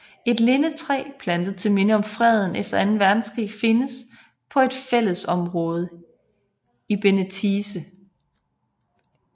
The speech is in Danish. Et lindetræ plantet til minde om freden efter anden verdenskrig findes på et fælledområde i Benetice